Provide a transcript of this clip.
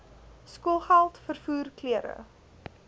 skoolgeld vervoer klere